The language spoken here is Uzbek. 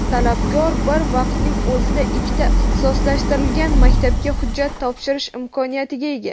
talabgor bir vaqtning o‘zida ikkita ixtisoslashtirilgan maktabga hujjat topshirish imkoniyatiga ega.